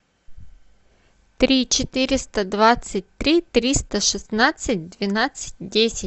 три четыреста двадцать три триста шестнадцать двенадцать десять